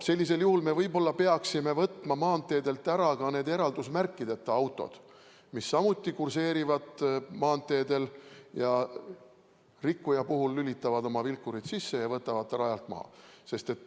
Sellisel juhul me võib-olla peaksime võtma maanteedelt ära ka eraldusmärkideta autod, mis samuti kurseerivad maanteedel, rikkuja puhul lülitavad oma vilkurid sisse ja võtavad ta rajalt maha.